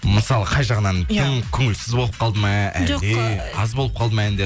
мысалы қай жағынан тым көңілсіз болып қалды ма әлде аз болып қалды ма әндер